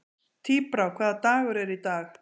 Tíbrá, hvaða dagur er í dag?